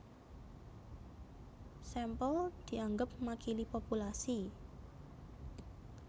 Sampel dianggep makili populasi